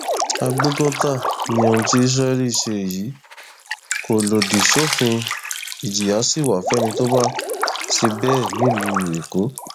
àgbẹfọfà ni ohun tí israel ṣe yìí kò lòdì sófin ìjìyà sí wa fẹni tó bá ṣe bẹẹ nílùú èkó